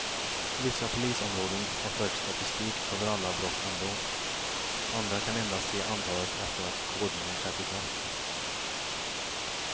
Vissa polisområden har fört statistik över alla brott ändå, andra kan endast se antalet efter att kodningen trätt i kraft.